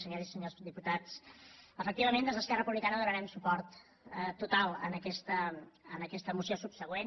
senyores i senyors diputats efectivament des d’esquerra republicana donarem suport total a aquesta moció subsegüent